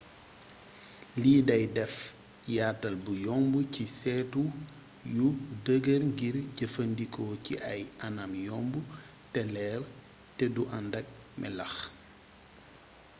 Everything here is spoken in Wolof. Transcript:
lii day deff yaatal bu yomb ci seetu yu dëgër ngir jëfandikoo ci ay anam yomb te leer teddu andakk melax